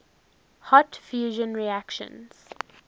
hot fusion reactions